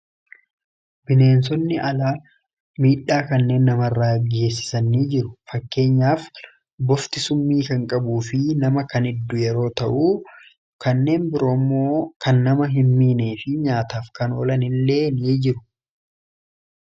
bineensonni alaa miidhaa kanneen nama rraa aggeessisan ni jiru fakkeenyaaf bofti summii kan qabuu fi nama kan hiddu yeroo ta'uu kanneen biroommoo kan nama hin miinee fi nyaataaf kanoolan illee ni jiru